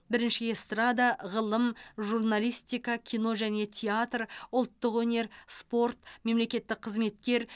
бірінші эстрада ғылым журналистика кино және театр ұлттық өнер спорт мемлекеттік қызметкер